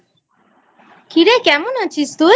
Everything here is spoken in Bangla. কী রে কেমন আছিস তুই?